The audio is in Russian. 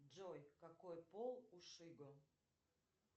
джой какой пол у шибы